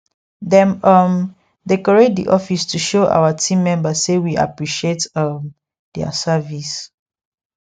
dem um decorate the office to show our team member say we appreciate um their service